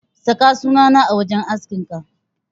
Saka sunana a wajen askinka.